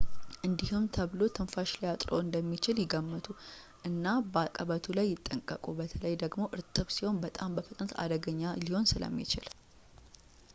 እንዲህም ተብሎ ትንፋሽ ሊያጥርዎት እንደሚችል ይገምቱ እና በአቀበቱ ላይ ይጠንቀቁ በተለይ ደግሞ እርጥብ ሲሆን በጣም በፍጥነት አደገኛ ሊሆን ስለሚችል